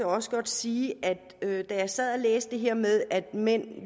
også godt sige at da jeg sad og læste det her med at mænd